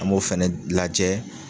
An m'o fɛnɛ lajɛ.